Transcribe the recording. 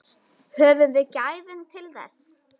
Höfum við gæðin til þess?